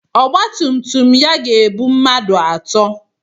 Ọgba tum tum ya ga-ebu mmadụ atọ.